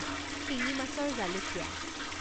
শিঙি মাছৰ জালুকীয়া